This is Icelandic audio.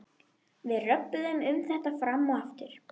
Við röbbuðum um þetta fram og aftur.